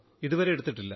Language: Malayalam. ഇതുവരെ എടുത്തിട്ടില്ല